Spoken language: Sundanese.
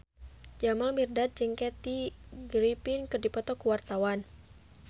Jamal Mirdad jeung Kathy Griffin keur dipoto ku wartawan